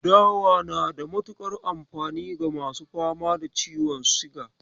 Dawa na da mutuƙar amfani ga masu fama da ciwon siga.